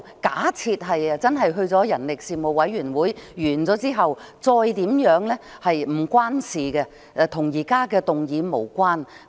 假設之後真的交付人力事務委員會，其後如何處理則與現時的議案無關。